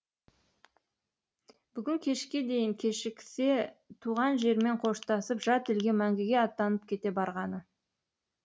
бүгін кешке дейін кешіксе туған жермен қоштасып жат елге мәңгіге аттанып кете барғаны